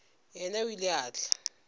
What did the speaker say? yena o ile a tla